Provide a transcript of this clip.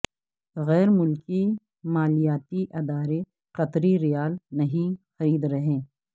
غیر ملکی مالیاتی ادارے قطری ریال نہیں خرید رہے